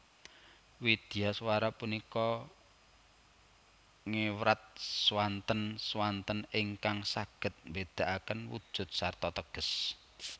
Widyaswara punika ngewrat swanten swanten ingkang saged mbedakaken wujud sarta teges